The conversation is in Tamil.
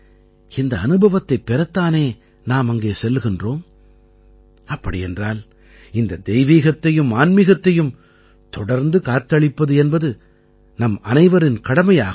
இந்த அனுபவத்தைப் பெறத் தானே நாம் அங்கே செல்கின்றோம் அப்படியென்றால் இந்த தெய்வீகத்தையும் ஆன்மீகத்தையும் தொடர்ந்து காத்தளிப்பது என்பது நம்மனைவரின் கடமையாகும்